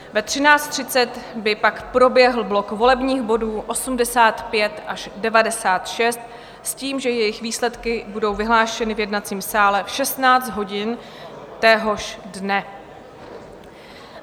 Ve 13.30 by pak proběhl blok volebních bodů 85 až 96, s tím, že jejich výsledky budou vyhlášeny v jednacím sále v 16 hodin téhož dne.